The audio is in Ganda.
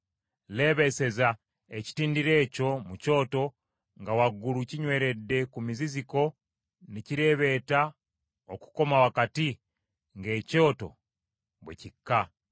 Leebeeseza ekitindiro ekyo mu kyoto, nga waggulu kinyweredde ku muziziko ne kireebeeta okukoma wakati ng’ekyoto bwe kikka.